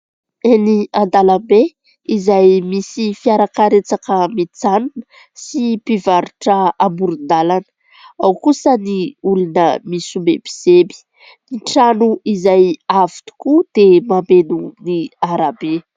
Eny an-dalambe izay misy fiarakaretsaka mijanona sy mpivarotra amoron-dalana, ao kosa ny olona misomebiseby. Ny trano izay avo tokoa dia mameno ny arabe.